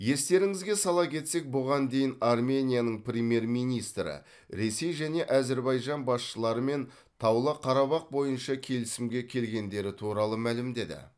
естеріңізге сала кетсек бұған дейін арменияның премьер министрі ресей және әзірбайжан басшыларымен таулы қарабақ бойынша келісімге келгендері туралы мәлімдеді